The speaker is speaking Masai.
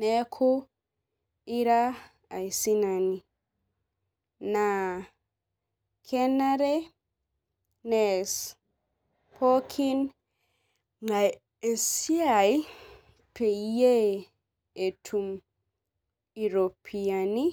neeku ira aisinani. naa kenare nees pookin ng'ae esiai peyiee etum iropiyiani.